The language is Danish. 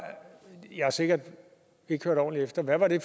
jeg har sikkert ikke hørt ordentligt efter hvad det